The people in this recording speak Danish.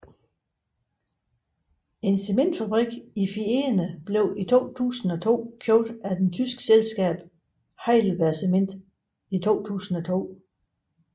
En cementfabrik i Fieni blev i 2002 købt af det tyske selskab HeidelbergCement i 2002